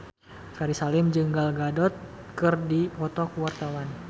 Ferry Salim jeung Gal Gadot keur dipoto ku wartawan